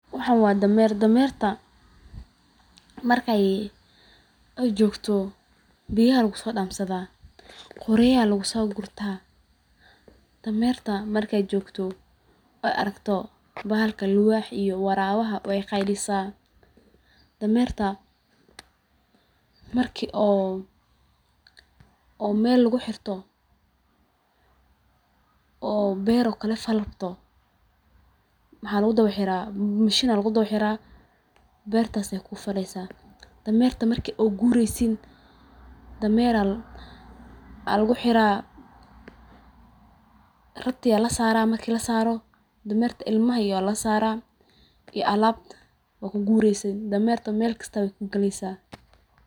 Waxan waa dameer dameerta marka ey jogto biyaha aya lagusoodansadha qoryaha ayaa lagusogurta. Dameerta markey joogto ey aragto bahalka libaaha iyo waraawaha wey qeylisa. Dameerta marki oo meel laguxirto oo beer oo kale fali rabto maxaa lagudawa xiraa mashin ayaa lagudawaxiraa beeertas aye kufaleysa. Dameerta marki oo gureysin dameer aya laguxira rati aa lasaraa marki lasaaro dameerta ilmaha iyo aa lasaraa iyo alaabta waa kugureysin, dameerta meel kasta wey kuugaleysa.